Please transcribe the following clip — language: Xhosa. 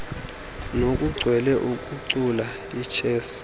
nokuchwela ukucula ichess